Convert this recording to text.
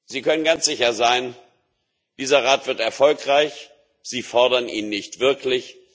Sie können ganz sicher sein Dieser Rat wird erfolgreich. Sie fordern ihn nicht wirklich